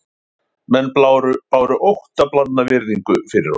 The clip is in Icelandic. Menn báru óttablandna virðingu fyrir honum